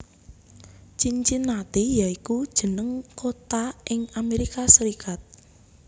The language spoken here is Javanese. Cincinnati ya iku jeneng kota ing Amerika Serikat